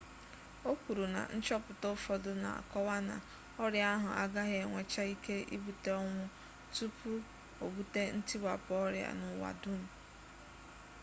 o kwuru na nchọpụta ụfọdụ na-akọwa na ọrịa ahụ agaghị enwecha ike ibute ọnwụ tupu o bute ntiwapụ ọrịa n'ụwa dum